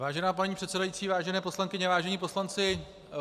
Vážená paní předsedající, vážené poslankyně, vážení poslanci.